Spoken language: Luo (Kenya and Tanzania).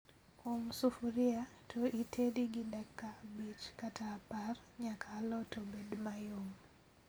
Um sufria to ited gi dakika abich kata apar nyaka alot obed mayom